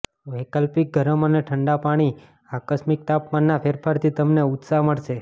વૈકલ્પિક ગરમ અને ઠંડા પાણી આકસ્મિક તાપમાનના ફેરફારથી તમને ઉત્સાહ મળશે